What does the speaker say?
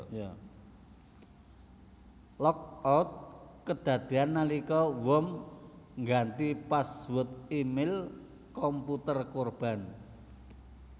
Lockout kedadéan nalika worm ngganti password e mail komputer korban